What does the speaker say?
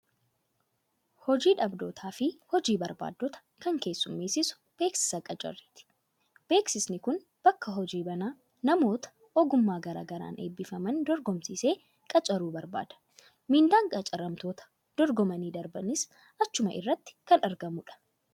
Hojii dhabdootaa fi hojii barbaaddota kan keessummeessu beeksisa qacarriti. Beeksisni kun bakka hojii banaa, namoota ogummaa garaa garaan eebbifaman dorgomsiisee qacaruu barbaada. Miindaan qacaramtoota dorgomanii darbaniis achuma irratti kan argamudha.